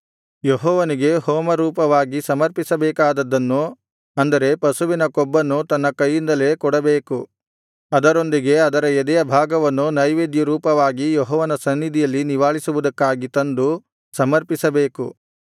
ಯೆಹೋವನಿಗೆ ಹೋಮರೂಪವಾಗಿ ಸಮರ್ಪಿಸಬೇಕಾದುದನ್ನು ಅಂದರೆ ಪಶುವಿನ ಕೊಬ್ಬನ್ನು ತನ್ನ ಕೈಯಿಂದಲೇ ಕೊಡಬೇಕು ಅದರೊಂದಿಗೆ ಅದರ ಎದೆಯ ಭಾಗವನ್ನು ನೈವೇದ್ಯರೂಪವಾಗಿ ಯೆಹೋವನ ಸನ್ನಿಧಿಯಲ್ಲಿ ನಿವಾಳಿಸುವುದಕ್ಕಾಗಿ ತಂದು ಸಮರ್ಪಿಸಬೇಕು